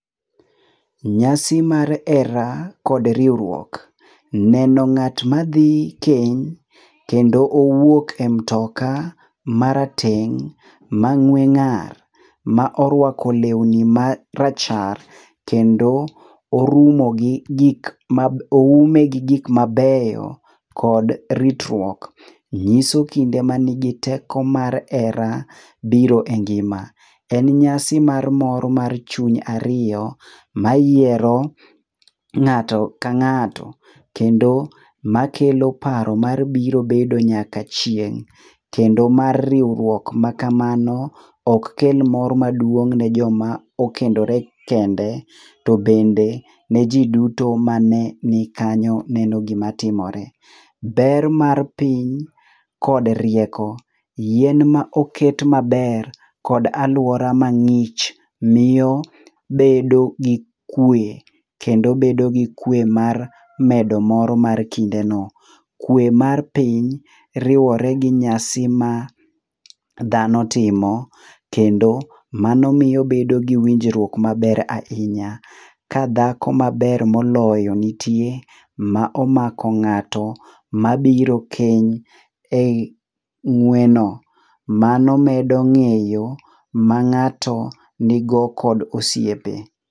Nyasi mar hera kod riwruok. Neno ng'at ma dhi keny kendo owuok e mtoka marateng' mang'we ng'ar ma orwako lewni marachar kendo oume gi gik mabeyo kod ritruok, nyiso kinde nigi teko mar hera biro e ngima. En nyasi mar mor mar chuny ariyo mayiero ng'ato ka ng'ato kendo makelo paro mar biro bedo nyaka chieng'. Kendo mar riwruok makamano ok kel mor maduong' ne joma okendore kende, to bende ne ji duto mane nikanyo neno gima timore. Ber mar piny kod rieko, yien ma oket maber kod alwora mang'ich miyo bedo gi kwe kendo bedo gi kwe mar medo mor mar kindeno. Kwe mar piny riwore gi nyasi ma dhano timo, kendo mano miyo obedo gi winjruok maber ahinya. Ka dhako maber moloyo nitie ma omako ng'ato mabiro keny e i ng'weno. Mano medo ng'eyo mang'ato nigo kod osiepe.